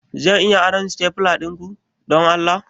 Zan iya aron stapler dinku, don Allah?